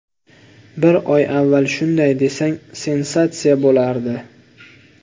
Bir oy avval shunday desang, sensatsiya bo‘lardi.